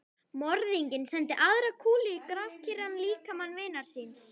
Morðinginn sendi aðra kúlu í grafkyrran líkama vinar síns.